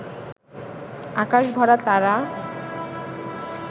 আকাশ ভরা তারা